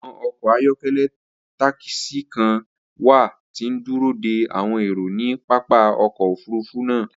Awọn ọkọ ayọkẹlẹ takisi kan wa ti n duro de awọn ero ni papa ọkọ ofurufu naa.